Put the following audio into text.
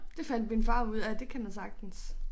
Det fandt min far ud af det kan man sagtens